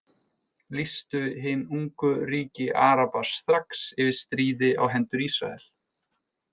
Lýstu hin ungu ríki Araba strax yfir stríði á hendur Ísrael.